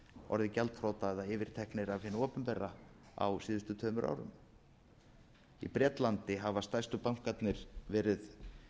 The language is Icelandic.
orðið gjaldþrota eða yfirteknir af hinu opinbera á síðustu tveimur árum í bretlandi hafa stærstu bankarnir verið